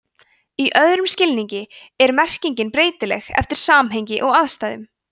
í öðrum skilningi er merkingin breytileg eftir samhengi og aðstæðum